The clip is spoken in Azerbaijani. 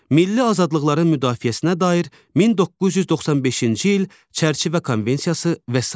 Milli azadlıqların müdafiəsinə dair 1995-ci il çərçivə konvensiyası və sair.